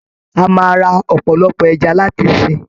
A máa ra ọ̀pọ̀lọpọ̀ ẹja láti sìn.